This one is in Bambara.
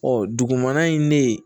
dugumana in ne